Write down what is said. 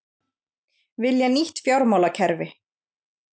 Vilja nýtt fjármálakerfi